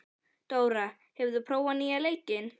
Dóra, hefur þú prófað nýja leikinn?